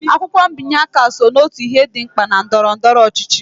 Akwụkwọ mbinye aka so n'otu ihe dị mkpa na ndọrọndọrọ ọchịchị